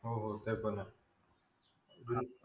हो ते पण आहे